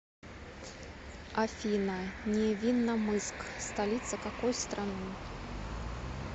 афина невинномысск столица какой страны